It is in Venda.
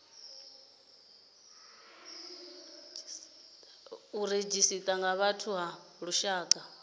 redzhisita ya vhathu ya lushaka